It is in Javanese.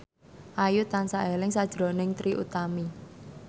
Ayu tansah eling sakjroning Trie Utami